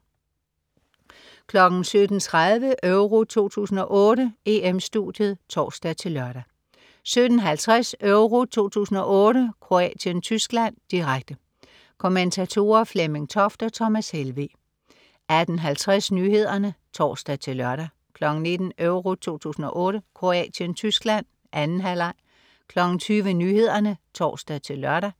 17.30 EURO 2008: EM-Studiet (tors-lør) 17.50 EURO 2008: Kroatien-Tyskland, direkte. Kommentatorer: Flemming Toft og Thomas Helveg 18.50 Nyhederne (tors-lør) 19.00 EURO 2008: Kroatien-Tyskland. 2. halvleg 20.00 Nyhederne (tors-lør)